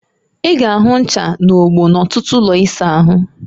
I ga-ahụ ncha na ogbo n'ọtụtụ ụlọ ịsa ahụ